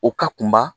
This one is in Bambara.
O ka kunba